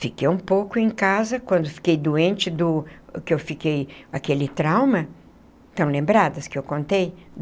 Fiquei um pouco em casa, quando fiquei doente do... que eu fiquei... aquele trauma... estão lembradas que eu contei?